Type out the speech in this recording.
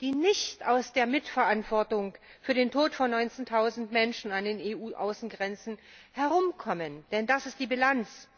die nicht um eine Mitverantwortung für den Tod von 19000Menschen an den EU Außengrenzen herumkommen, denn das ist die Bilanz.